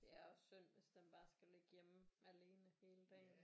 Det er også synd hvis den bare skal ligge hjemme alene hele dagen